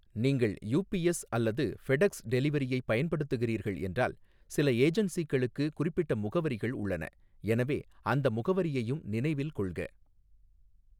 நீங்கள் யுபிஎஸ் அல்லது ஃபெடெக்ஸ் டெலிவரியைப் பயன்படுத்துகிறீர்கள் என்றால் சில ஏஜென்சிகளுக்கு குறிப்பிட்ட முகவரிகள் உள்ளன, எனவே அந்த முகவரியையும் நினைவில் கொள்க.